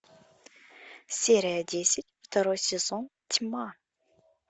серия десять второй сезон тьма